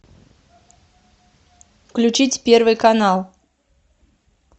включить первый канал